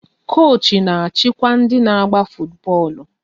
Koochi na-achịkwa ndị n'agba futu bọọlụ